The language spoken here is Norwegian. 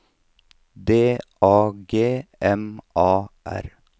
D A G M A R